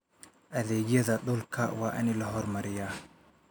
Adeegyada dhulka waa in la horumariyaa.